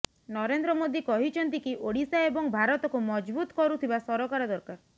ନରେନ୍ଦ୍ର ମୋଦୀ କହିଛନ୍ତି କି ଓଡିଶା ଏବଂ ଭାରତକୁ ମଜବୁତ କରୁଥିବା ସରକାର ଦରକାର